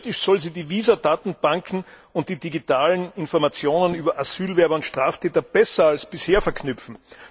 Theoretisch soll sie die Visa Datenbanken und die digitalen Informationen über Asylbewerber und Straftäter besser als bisher verknüpfen.